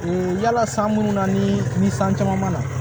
Ee yala san munnu na ni ni san caman ma na